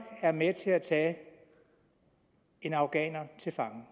er med til at tage en afghaner til fange